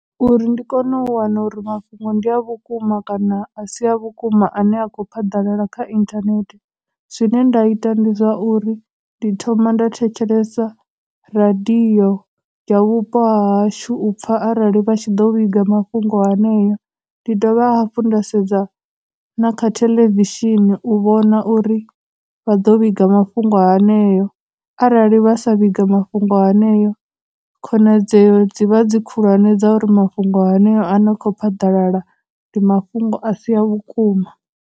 Uri ndi kone u wana uri mafhungo ndi a vhukuma kana a si a vhukuma a ne a kho phaḓalala kha internet, zwine nda ita ndi zwa uri, ndi thoma nda thetshelesa radio ya vhupo ha hashu u pfha arali vha tshi ḓo vhiga mafhungo haneyo, ndi dovha hafhu nda sedza na kha theḽevishini u vhona uri vha ḓo vhiga mafhungo aneo, arali vha sa vhiga mafhungo haneo, khonadzeo dzivha dzi khulwane dza uri mafhungo haneo a ne a khou phaḓalala ndi mafhungo a si a vhukuma.